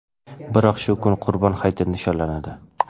Biroq shu kuni Qurbon hayiti nishonlanadi.